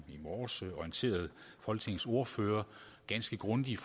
i morges orienterede folketingets ordførere ganske grundigt